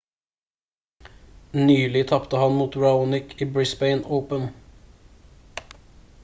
nylig tapte han mot raonic i brisbane open